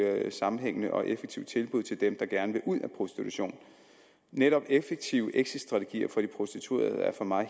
sammenhængende og effektive tilbud til dem der gerne vil ud af prostitution netop effektive exitstrategier for de prostituerede er for mig at